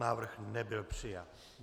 Návrh nebyl přijat.